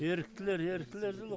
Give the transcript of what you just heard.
еріктілер еріктілер жылы ғой